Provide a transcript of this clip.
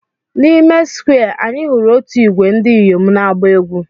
N'ime Square Square, anyị hụrụ otu ìgwè ndị inyom na-agba egwú.